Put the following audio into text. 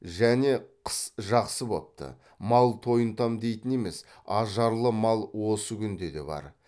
және қыс жақсы бопты мал тойынтам дейтін емес ажарлы мал осы күнде де бар